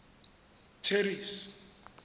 terry's